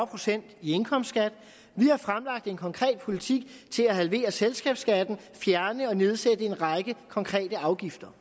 procent i indkomstskat vi har fremlagt en konkret politik til at halvere selskabsskatten og fjerne og nedsætte en række konkrete afgifter